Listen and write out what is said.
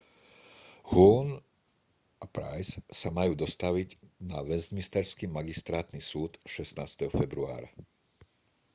huhne a pryce sa majú dostaviť na westminsterský magistrátny súd 16. februára